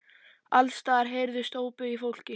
Alls staðar heyrðust ópin í fólki.